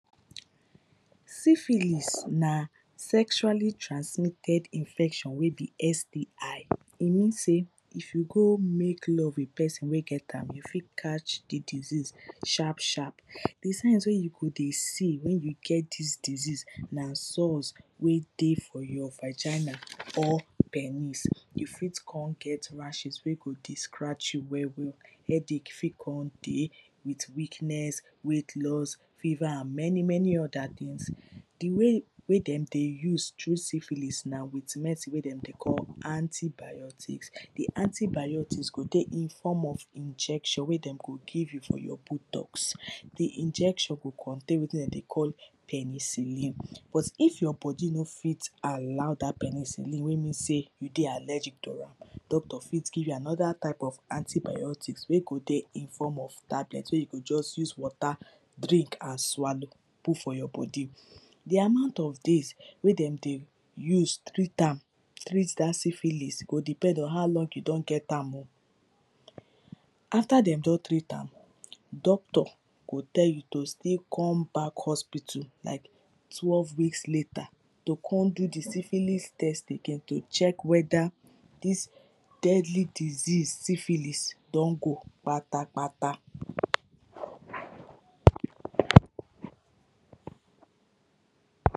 syphilis na sexual transmitted infection wey be STI. E mean sey if you go make love with person wey get am you fit cash di disease sharp sharp. Di signs wey you go dey see wen you get dis disease na sores wey dey for your vagina or penis. You fit come get rashes wey go dey scratch you well well headache fit come dey, with weakness, weight loss, fever and many many other things Di way dem dey use treat syphlis na with medicine wey dem dey call antibiotics Di antibiotics go dey in form of injection wey dem go give you for your buttocks. Di injection go contain wetin dem dey call penicillin, but if your body no fit allow dat penicillin make you know sey you dey allergic to am Doctor fit give another type of antibiotics wey go dey in form of tablet wey you go just use watrer drink and swallow put for your body. Di amount of days wey dem dey use treat am treat dat syphilis go depend on how long you don get am oh. After dem don treat am doctor go tell you to still come back hospital like twelve weeks letter to come do di syphilis test again to check whether dis deadly disease syphilis don go kpatakpata